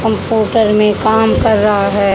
Computer में काम कर रहा है।